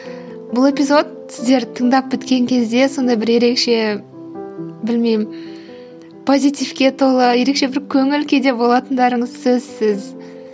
бұл эпизод сіздер тыңдап біткен кезде сондай бір ерекше білмеймін позитивке толы ерекше бір көңіл күйде болатындарыңыз сөзсіз